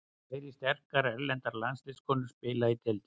Fleiri sterkar erlendar landsliðskonur spila í deildinni.